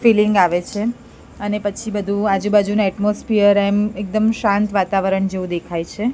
Feeling આવે છે અને પછી બધુ આજુ બાજુના એટમોસ્ફિયર એમ એકદમ શાંત વાતાવરણ જેવુ દેખાય છે.